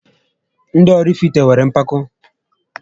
Ndị Ọrifite nwéré mpako